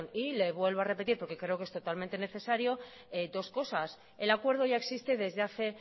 y le vuelvo a repetir porque creo que es totalmente necesario dos cosas el acuerdo ya existe desde hace